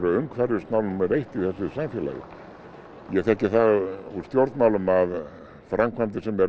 umhverfismál númer eitt í þessu samfélagi ég þekki það úr stjórnmálum að framkvæmdir sem eru